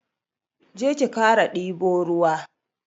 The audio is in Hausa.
Je ki kara dibo ruwa.